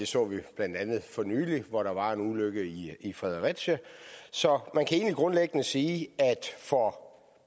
så vi blandt andet for nylig hvor der var en ulykke i fredericia så man kan egentlig grundlæggende sige at for